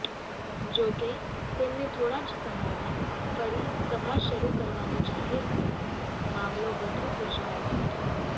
જોકે તેમણે થોડા જ સમયમાં ફરી સભા શરૂ કરવાનું જાહેર કરતા મામલો વધુ ગુંચવાયો હતો